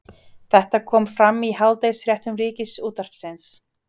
Þetta kom fram í hádegisfréttum Ríkisútvarpsins